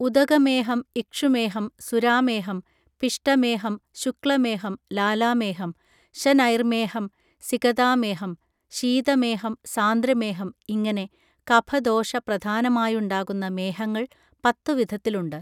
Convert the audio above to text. ഉദകമേഹം ഇക്ഷുമേഹം സുരാമേഹം പിഷ്ടമേഹം ശുക്ലമേഹം ലാലാമേഹം ശനൈർമേഹം സികതാമേഹം ശീതമേഹം സാന്ദ്രമേഹം ഇങ്ങനെ കഫദോഷ പ്രധാനമായുണ്ടാകുന്ന മേഹങ്ങൾ പത്തുവിധത്തിലുണ്ട്